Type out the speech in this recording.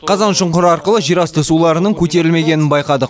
қазаншұңқыр арқылы жерасты суларының көтерілмегенін байқадық